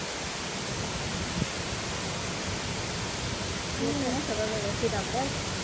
येते ना सर्वा वेवस्थित अभ्यास?